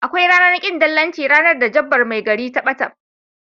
Akwai ranar kin dillanci ranar da jabbar mai gari ta bata.